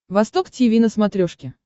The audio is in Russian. восток тиви на смотрешке